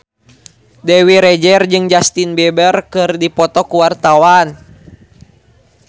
Dewi Rezer jeung Justin Beiber keur dipoto ku wartawan